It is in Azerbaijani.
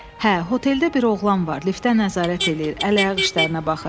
Hə, oteldə bir oğlan var, liftə nəzarət eləyir, əl-ayaq işlərinə baxır.